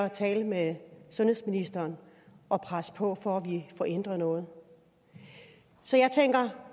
at tale med sundhedsministeren og presse på for at vi får ændret noget så jeg tænker